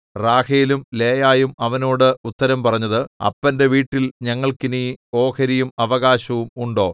റാഹേലും ലേയായും അവനോട് ഉത്തരം പറഞ്ഞത് അപ്പന്റെ വീട്ടിൽ ഞങ്ങൾക്ക് ഇനി ഓഹരിയും അവകാശവും ഉണ്ടോ